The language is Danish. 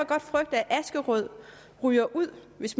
godt frygte at askerød ryger ud hvis